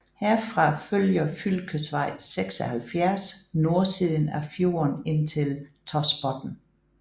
Herfra følger fylkesvej 76 nordsiden af fjorden ind til Tosbotn